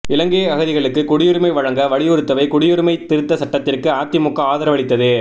இலங்கை அகதிகளுக்கு குடியுரிமை வழங்க வலியுறுத்தவே குடியுரிமை திருத்த சட்டத்திற்கு அதிமுக ஆதரவளித்தது